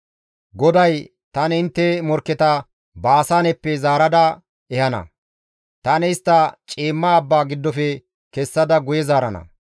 Goday, «Tani intte morkketa Baasaaneppe zaarada ehana; tani istta ciimma abba giddofe kessada guye zaarana.